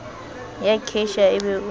ya cashier e be o